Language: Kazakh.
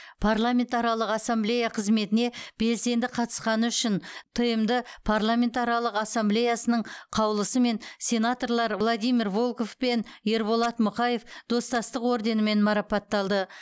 парламентаралық ассамблея қызметіне белсенді қатысқаны үшін тмд парламентаралық ассамблеясының қаулысымен сенаторлар владимир волков пен ерболат мұқаев достастық орденімен марапатталды